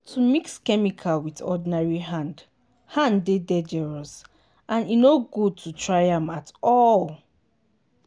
to mix chemical with ordinary hand hand dey dangerous and e no good to try am at all.